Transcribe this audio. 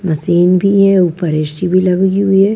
Machine भी हैं ऊपर ए_शी भी लगी हुई है।